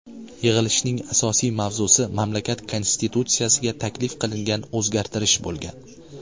Yig‘ilishning asosiy mavzusi mamlakat Konstitutsiyasiga taklif qilingan o‘zgartirish bo‘lgan.